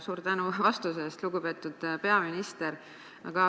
Suur tänu vastuse eest, lugupeetud peaminister!